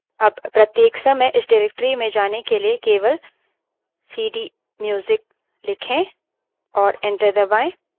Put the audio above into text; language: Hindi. अब प्रत्येक समय इस directory में जाने के लिए केवल सीडीम्यूजिक लिखें और enter दबायें